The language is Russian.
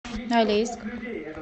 алейск